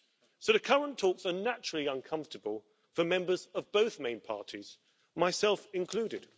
So the current talks are naturally uncomfortable for members of both main parties, myself included.